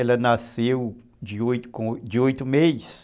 Ela nasceu de oito, com oito meses.